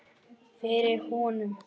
Fyrir honum.